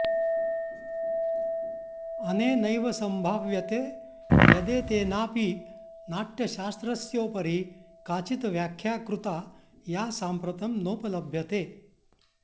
अनेनैव सम्भाव्यते यदेतेनाऽपि नाट्यशास्त्रस्योपरि काचित् व्याख्या कृता या साम्प्रतं नोपलभ्यते